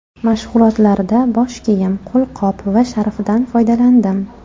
Mashg‘ulotlarda bosh kiyim, qo‘lqop va sharfdan foydalandim.